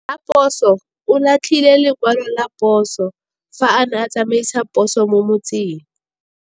Raposo o latlhie lekwalô ka phosô fa a ne a tsamaisa poso mo motseng.